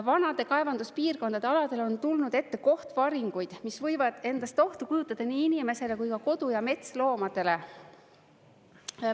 Vanade kaevanduspiirkondade aladele on tulnud ette kohtvaringuid, mis võivad endast ohtu kujutada nii inimesele kui ka kodu- ja metsloomadele.